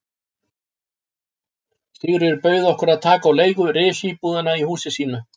Sigríður bauð okkur að taka á leigu risíbúðina í húsi sínu.